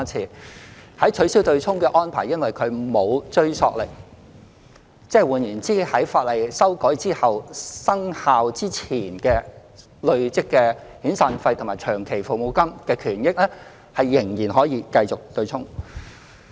由於取消"對沖"的安排沒有追溯力，在法例修訂後，生效之前累積的遣散費和長服金權益仍然可以繼續"對沖"。